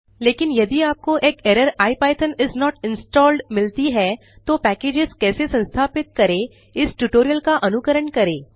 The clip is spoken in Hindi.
लेकिन यदि आपको एक error IPython is not installed मिलती है तो पैकेजस कैसे संस्थापित करेंइस ट्यूटोरियल का अनुकरण करें